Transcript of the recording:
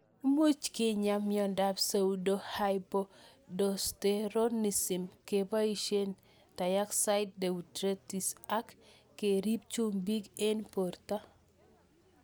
Much kenyaa miondop pseudohypoaldosteronism keboishe thiazide diuretics ak kerip chumbik eng' porto